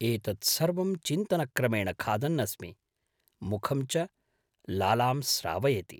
एतत् सर्वं चिन्तनक्रमेण खादन् अस्मि, मुखं च लालां स्रावयति।